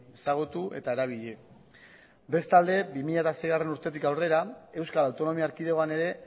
ezagutu eta erabili bestalde bi mila seigarrena urtetik aurrera euskal autonomia erkidegoan ere